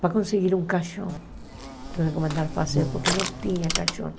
Para conseguir um caixão, tiveram que mandar fazer porque não tinha caixão.